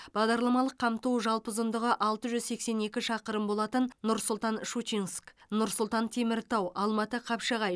бағдарламалық қамту жалпы ұзындығы алты жүз сексен екі шақырым болатын нұр сұлтан щучинск нұр сұлтан теміртау алматы қапшағай